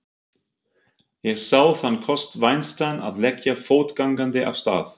Ég sá þann kost vænstan að leggja fótgangandi af stað.